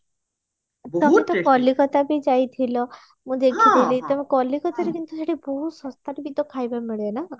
ତମେତ କଲିକତା ବି ଯାଇଥିଲ ମୁଁ ଦେଖି ଥିଲି ତମେ କଲିକତାରେ କିନ୍ତୁ ସେଠି ବହୁତ ଶସ୍ତାରେ ବି ତ ଖାଇବା ମିଳେ ନା